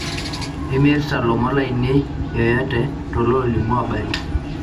imirta lomon lainei yoyote too loolimu abari